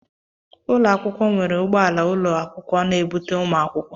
Ụlọ akwụkwọ nwere ụgbọala ụlọ akwụkwọ na-ebute ụmụ akwụkwọ.